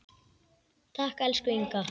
Takk, elsku Inga.